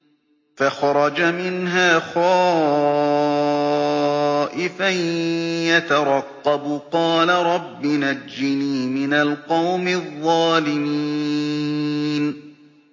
فَخَرَجَ مِنْهَا خَائِفًا يَتَرَقَّبُ ۖ قَالَ رَبِّ نَجِّنِي مِنَ الْقَوْمِ الظَّالِمِينَ